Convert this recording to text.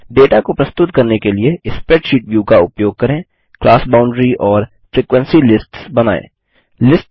data को प्रस्तुत करने के लिए स्प्रैडशीट ब्यू का उपयोग करें क्लास बाउंडरी वर्ग सीमा और फ्रीक्वेंसी लिस्ट्स फ्रिक्वेंसी लिस्ट्स बनायें